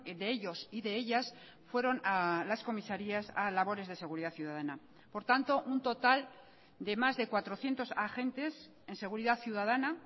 de ellos y de ellas fueron a las comisarías a labores de seguridad ciudadana por tanto un total de más de cuatrocientos agentes en seguridad ciudadana